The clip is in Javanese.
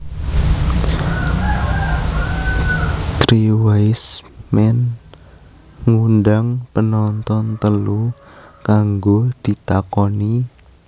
Three wise man ngundang penonton telu kanggo ditakoni